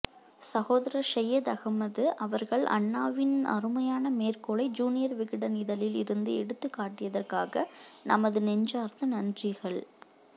சகோதரர் செய்யது அஹ்மது அவர்கள் அண்ணாவின்அருமையான மேற்கோளை ஜுனியர் விகடன் இதழில் இருந்து எடுத்து காட்டியதற்காக நமது நெஞ்சார்ந்த நன்றிகள்